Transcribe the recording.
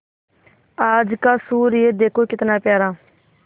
आज का सूर्य देखो कितना प्यारा